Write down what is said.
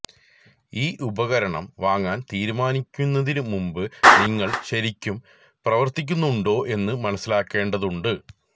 ഈ ഉപകരണം വാങ്ങാൻ തീരുമാനിക്കുന്നതിന് മുമ്പ് നിങ്ങൾ ശരിക്കും പ്രവർത്തിക്കുന്നുണ്ടോ എന്ന് മനസിലാക്കേണ്ടതുണ്ട്